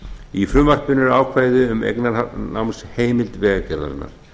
í frumvarpinu eru ákvæði um eignarnámsheimild vegagerðarinnar